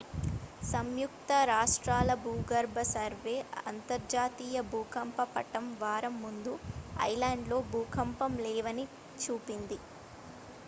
సంయుక్త రాష్ట్రాల భూగర్భ సర్వే అంతర్జాతీయ భూకంప పటం వారం ముందు ఐలాండ్లో భూకంపాలు లేవని చూపింది